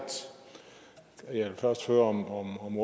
jeg vil først høre om